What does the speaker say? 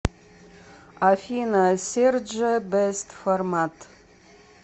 афина серджио бэст формат